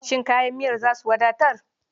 Shin kayan miyar za su wadatar?